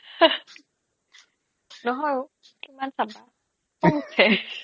নহয় ঔ কিমান চাবা খং উঠে